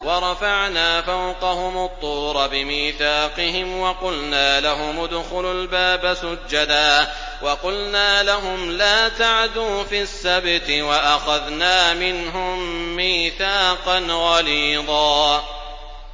وَرَفَعْنَا فَوْقَهُمُ الطُّورَ بِمِيثَاقِهِمْ وَقُلْنَا لَهُمُ ادْخُلُوا الْبَابَ سُجَّدًا وَقُلْنَا لَهُمْ لَا تَعْدُوا فِي السَّبْتِ وَأَخَذْنَا مِنْهُم مِّيثَاقًا غَلِيظًا